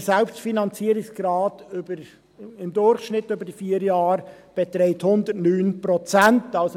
Der Selbstfinanzierungsgrad beträgt im Durchschnitt über diese vier Jahre 109 Prozent.